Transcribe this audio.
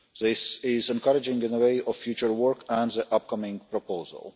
This is encouraging in view of our future work and the upcoming proposal.